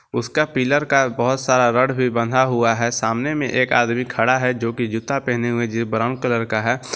उसका पिलर का बहुत सारा रॉड भी बंधा हुआ है सामने में एक आदमी खड़ा है जो कि जूता पहने हुए है ब्राउन कलर का है।